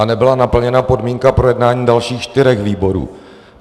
A nebyla naplněna podmínka projednání dalších čtyř výborů.